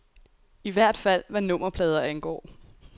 I hvert fald hvad nummerplader angår.